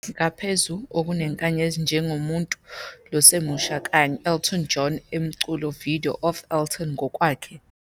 ngaphezu, okunenkanyezi njengemuntfu losemusha kanye Elton John e umculo video of Elton ngokwakhe,"